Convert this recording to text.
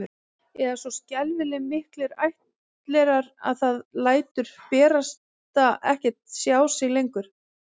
Eða svo skelfing miklir ættlerar að það lætur barasta ekkert sjá sig lengur